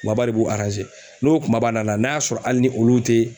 Kumaba de b'o n'o kumaba nana n'a y'a sɔrɔ hali ni olu tɛ